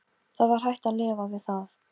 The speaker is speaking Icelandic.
Það var hægt að lifa við það.